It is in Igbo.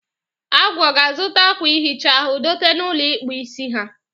Agwu, ọ ga-azụta akwa ihicha ahụ dote na ụlọ ịkpụ isi ha?